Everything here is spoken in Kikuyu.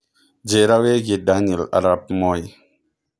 njĩira wĩigie Daniel Arap Moi